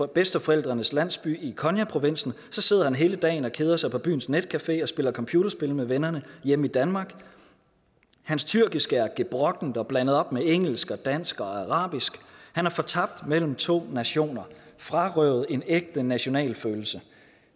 bedsteforældrenes landsby i konyaprovinsen sidder han hele dagen og keder sig på byens netcafé og spiller computerspil med vennerne hjemme i danmark hans tyrkiske er gebrokkent og blandet op med engelsk dansk og arabisk han er fortabt mellem to nationer og frarøvet en ægte nationalfølelse